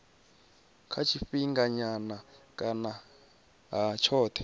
ha tshifhinganyana kana ha tshothe